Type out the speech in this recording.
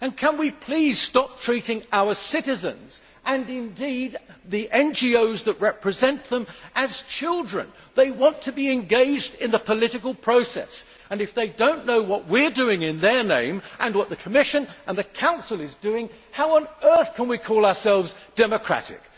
Can we please stop treating our citizens, and indeed the NGOs that represent them, as children? They want to be engaged in the political process, and if they do not know what we are doing in their name, and what the Commission and the Council is doing, how on earth can we call ourselves democratic'?